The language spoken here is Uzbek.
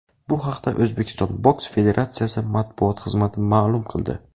Bu haqda O‘zbekiston boks federatsiyasi matbuot xizmati ma’lum qildi.